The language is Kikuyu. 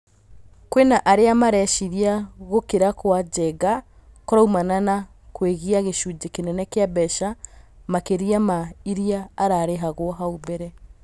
Kwĩna arĩa mareciria gũkira gwa Njenga kũraumana na gwĩgia gĩcunjĩ kĩnene kĩa mbeca makĩria ma iria ararĩhagwo hau mbere.